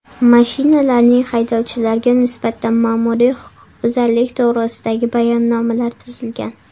Mashinalarning haydovchilarga nisbatan ma’muriy huquqbuzarlik to‘g‘risidagi bayonnomalar tuzilgan.